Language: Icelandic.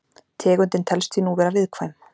Tegundin telst því nú vera viðkvæm.